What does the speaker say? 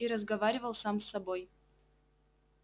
и разговаривал сам с собой